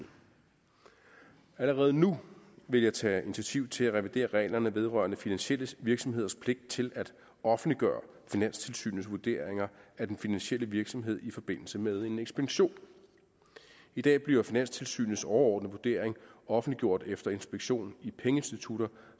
allerede nu vil jeg tage initiativ til at revidere reglerne vedrørende finansielle virksomheders pligt til at offentliggøre finanstilsynets vurderinger af den finansielle virksomhed i forbindelse med en inspektion i dag bliver finanstilsynets overordnede vurdering offentliggjort efter inspektion i pengeinstitutter